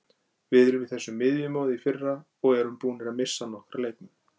Við vorum í þessu miðjumoði í fyrra og erum búnir að missa nokkra leikmenn.